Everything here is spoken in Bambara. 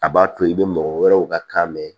A b'a to i bɛ mɔgɔ wɛrɛw ka kan mɛn